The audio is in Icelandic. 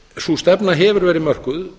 sú stefna hefur verið mörkuð